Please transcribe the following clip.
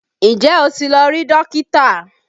Ǹjẹ́ o ti lọ rí Dókítà?